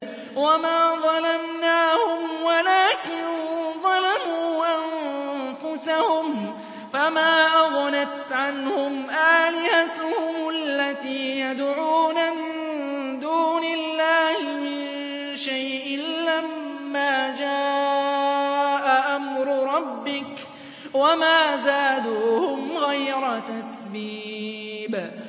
وَمَا ظَلَمْنَاهُمْ وَلَٰكِن ظَلَمُوا أَنفُسَهُمْ ۖ فَمَا أَغْنَتْ عَنْهُمْ آلِهَتُهُمُ الَّتِي يَدْعُونَ مِن دُونِ اللَّهِ مِن شَيْءٍ لَّمَّا جَاءَ أَمْرُ رَبِّكَ ۖ وَمَا زَادُوهُمْ غَيْرَ تَتْبِيبٍ